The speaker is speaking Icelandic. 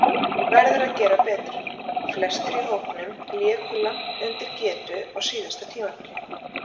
Verður að gera betur: Flestir í hópnum léku langt undir getu á síðasta tímabili.